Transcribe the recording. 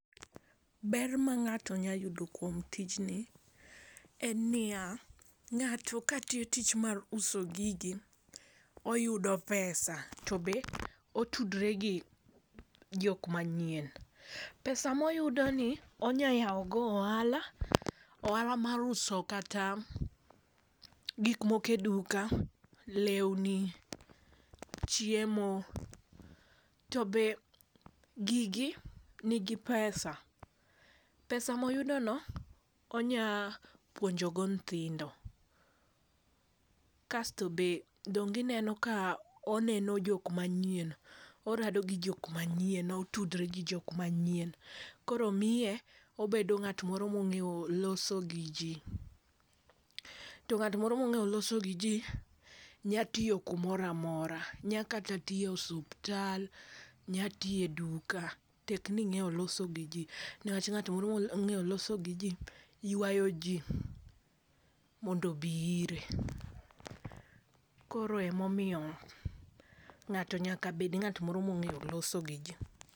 Ber ma ng'ato nya yudo kuom tijni, en niya, ng'ato ka tiyo tich mar uso gigi, oyudo pesa to be otudre gi jok manyien. Pesa ma oyudo ni, onyalo yawogo ohala, ohala mar uso kata gik moko e duka, lewni, chiemo, to be gigi nigi pesa. Pesa ma oyudono, onya puonjogo nyithindo. Kasto be, dong ineno ka oneno jok manyien, orado gi jok manyien, otudre gi jok manyien, koro miye, obedo ng'at moro ma ong'eyo loso gi jii. To ng'at moro mong'eyo loso gi jii, nyalo tiyo kumoro amora. Nyalo kata tiye osuptal, nya tiye duka, tekni ing'e loso gi jii ne wach ng'at moro ma ong'eyo loso gi jii ywayo jii mondo obi ire. Koro ema omiyo ng'ato nyaka bed ng'at moro ma ong'eyo loso gi ji.